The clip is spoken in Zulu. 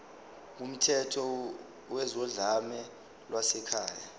kumthetho wezodlame lwasekhaya